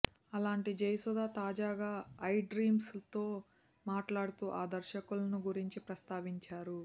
అలాంటి జయసుధ తాజాగా iDreams తో మాట్లాడుతూ ఆ దర్శకులను గురించి ప్రస్తావించారు